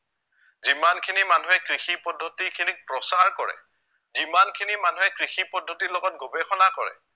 যিমানখিনি মানুহে কৃষি পদ্ধতিখিনিক প্ৰচাৰ কৰে, যিমানখিনি মানুহে কৃষি পদ্ধতি লগত গৱেষণা কৰে